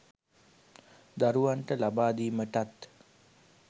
දරුවන්ට ලබා දීමටත්